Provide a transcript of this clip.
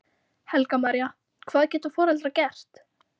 Helga María: Hvað geta foreldrar gert?